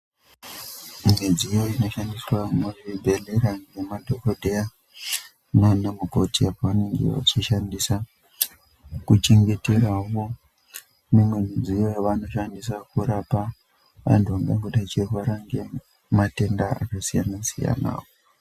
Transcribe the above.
Midziyo inoshandiswa muzvibhedhlera ngemadhogodheya nana mukoti. Apo anenge achishandisa kuchengeteravo mimwe midziyo yavanoshandisa kurapa antu anenge achirwara ngematenda akasiyana-siyana.